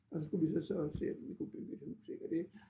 Og så skulle vi så så se om vi kunne bygge et hus ik og det